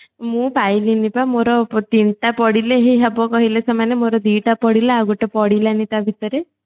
ମୁଁ ପାଇଲିନି ପା ମୋର ତିନିଟା ପଡିଲେ ହିଁ ହେବ କହିଲେ ସେମାନେ ମୋର ଦିଟା ପଡିଲା ଆଉ ଗୋଟେ ପଡିଲାନି ସେ ଭିତରେ